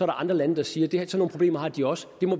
andre lande der siger at sådan nogle problemer har de også og det må